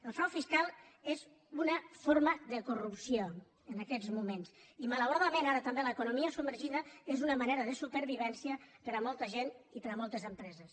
el frau fiscal és una forma de corrupció en aquests mo·ments i malauradament ara també l’economia sub·mergida és una manera de supervivència per a molta gent i per a moltes empreses